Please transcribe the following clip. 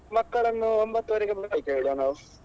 ಮಕ್ಕಳನ್ನು ಒಂಬತ್ತುವರೆಗೆ ಬರ್ಲಿಕ್ಕೆ ಹೇಳುವ ನಾವು.